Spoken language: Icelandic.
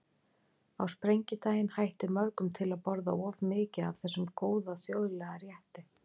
Á sprengidaginn hættir mörgum til að borða of mikið af þessum góða þjóðlega rétti.